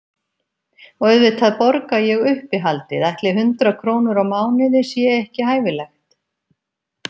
Og auðvitað borga ég uppihaldið, ætli hundrað krónur á mánuði sé ekki hæfilegt?